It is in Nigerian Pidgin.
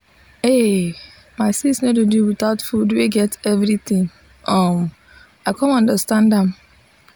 ay my sis no dey do without food wey get everything um i come understand am.